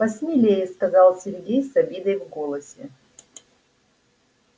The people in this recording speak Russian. посмелее сказал сергей с обидой в голосе